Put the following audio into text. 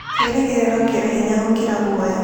Kĩĩrĩgĩrĩro kĩrĩ hinya gũkĩra guoya.